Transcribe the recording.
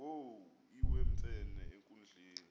wo iwemfene enkundleni